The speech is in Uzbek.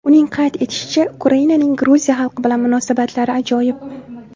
Uning qayd etishicha, Ukrainaning Gruziya xalqi bilan munosabatlari ajoyib.